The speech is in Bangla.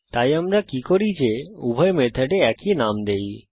তাই আমরা কি করি যে উভয় মেথডে একই নাম দেই